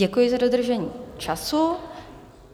Děkuji za dodržení času.